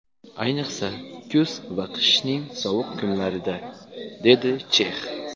Ayniqsa, kuz va qishning sovuq kunlarida”, – dedi Chex.